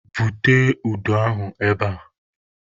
Bute udu ahụ ebe a!